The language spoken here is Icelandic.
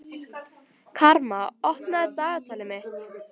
Karma, opnaðu dagatalið mitt.